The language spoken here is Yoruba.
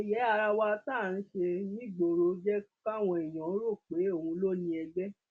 yẹyẹ ara wa tá à ń ṣe nígboro jẹ káwọn èèyàn rò pé òun ló ni ẹgbẹ